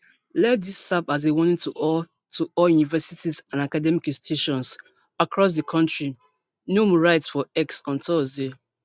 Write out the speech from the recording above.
let dis serve as warning to all to all universities and academic institutions across di kontri noem write for x on thursday